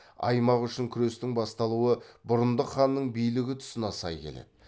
аймақ үшін күрестің басталуы бұрындық ханның билігі тұсына сай келеді